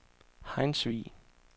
Hejnsvig